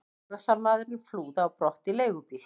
Árásarmaðurinn flúði á brott í leigubíl.